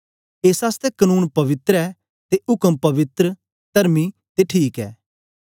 एस आसतै कनून पवित्र ऐ ते उक्म पवित्र तरमी ते ठीक ऐ